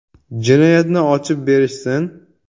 Jinoyatni ochib berishsin.